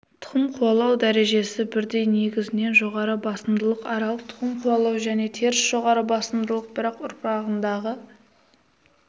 тұқым қуалау дәрежесі бірдей негізінен жоғары басымдылық аралық тұқым қуалау және теріс жоғары басымдылық бірақ ұрпағындағы